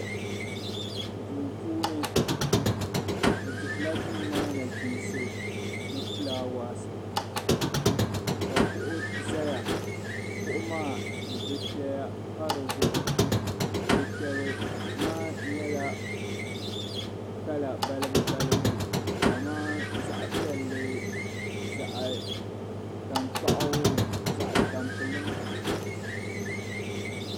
Duu puuni bɛ dihila duu maa nachinsi ni fulaawaasi ka kuɣu zaya kuɣu maa dufɛya pa di zuɣu dufɛli maa nyɛla kala balibu balibu kamani zaɣ'piɛlli zaɣ'tankpaɣu zaɣ'tampilim.